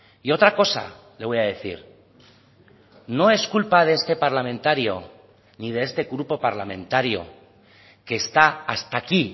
y otra cosa le voy a decir no es culpa de este parlamentario ni de este grupo parlamentario que está hasta aquí